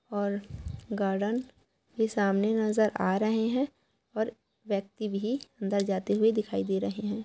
और गार्डेन भी सामने नजर आ रहे हैं और एक व्यक्ति भी अंदर जाते हुए दिखाई दे रहे हैं।